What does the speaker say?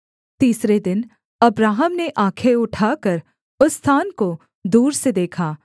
तीसरे दिन अब्राहम ने आँखें उठाकर उस स्थान को दूर से देखा